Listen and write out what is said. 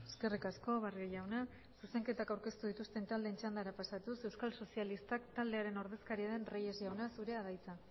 eskerrik asko barrio jauna zuzenketak aurkeztu dituzten taldeen txandara pasatuz euskal sozialistak taldearen ordezkaria den reyes jauna zurea da hitza